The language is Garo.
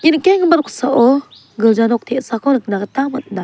nikkenggipa noksao gilja nok te·sako nikna gita man·a.